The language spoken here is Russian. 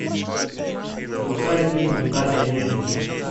запускай фильм виталия мельникова